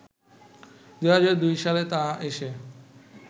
২০০২ সালে তা এসে